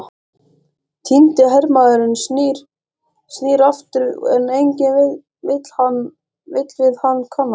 Týndi hermaðurinn snýr aftur, en enginn vill við hann kannast.